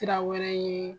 Sira wɛrɛ ye